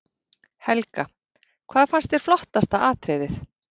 Helga: Hvað fannst þér flottasta atriðið?